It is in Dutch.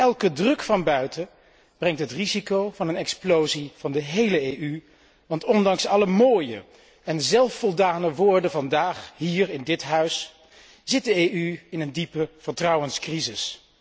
Elke druk van buiten brengt het risico van een explosie van de hele EU met zich, want ondanks alle mooie en zelfvoldane woorden vandaag hier in dit Huis zit de EU in een diepe vertrouwenscrisis.